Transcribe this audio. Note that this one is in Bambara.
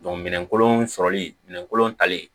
minɛnkolon sɔrɔli minɛnkolon talen